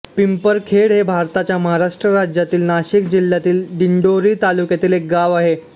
पिंपरखेड हे भारताच्या महाराष्ट्र राज्यातील नाशिक जिल्ह्यातील दिंडोरी तालुक्यातील एक गाव आहे